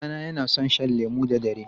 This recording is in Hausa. Ɗana yana son shan lemu da dare.